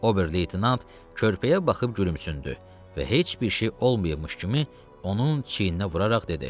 Ober-leytenant körpəyə baxıb gülümsündü və heç bir şey olmayıbmış kimi onun çiyninə vuraraq dedi: